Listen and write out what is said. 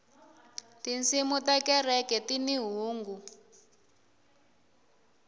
tinsimu ta kereke tini hungu